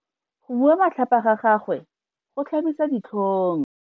Go bua matlhapa ga gagwe go tlhabisa ditlhong.